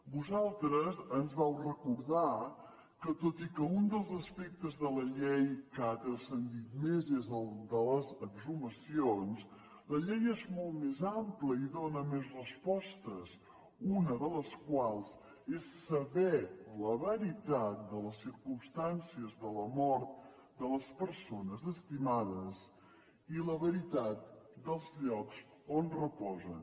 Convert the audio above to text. vosaltres ens vau recordar que tot i que un dels aspectes de la llei que ha transcendit més és de les exhumacions la llei és molt més àmplia i dóna més respostes una de les quals és saber la veritat de la circumstàncies de la mort de les persones estimades i la veritat dels llocs on reposen